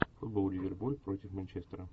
футбол ливерпуль против манчестера